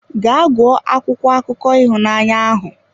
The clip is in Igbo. Gaa gụọ akwụkwọ akụkọ ịhụnanya ahụ!